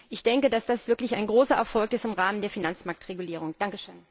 Ich denke, dass das wirklich ein großer Erfolg im Rahmen der Finanzmarktregulierung ist.